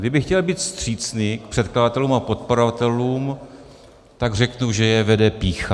Kdybych chtěl být vstřícný k předkladatelům a podporovatelům, tak řeknu, že je vede pýcha.